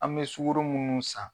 An bɛ sukoro munnu san.